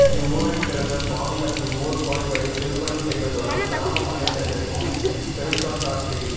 இவ்வூரில் பிறந்த சுவாமிகள் இவ்வூர் கோயில்களைத் திருப்பணி செய்ததுடன் கிராம முன்னேற்றத்திற்கும் பெருந்தொண்டாற்றி